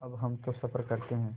अब हम तो सफ़र करते हैं